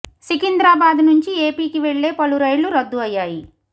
సికింద్రాబాద్ నుంచి ఏపీకి వెళ్లే పలు రైళ్లు రద్దు అయ్యాయి